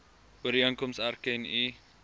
ooreenkoms erken u